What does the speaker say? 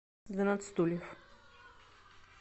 двенадцать стульев